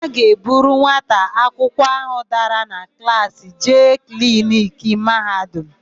A ga-eburu nwata akwụkwọ áhụ̀ dara na klaasị jee kliniki Mahadum.